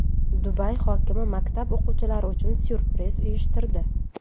Dubay hokimi maktab o‘quvchilari uchun syurpriz uyushtirdi.